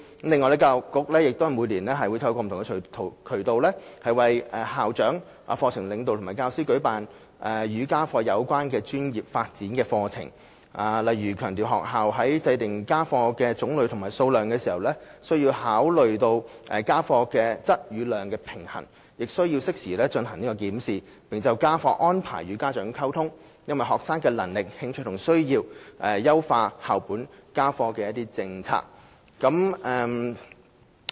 此外，教育局每年均透過不同渠道，為校長、課程領導及教師舉辦與家課有關的專業發展課程，例如強調學校在訂定家課種類和數量時，須考慮家課質與量的平衡，亦須適時進行檢視，並就家課安排與家長溝通，因應學生的能力、興趣和需要，優化校本家課政策。